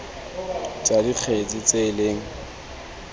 tsa dikgetse tse e leng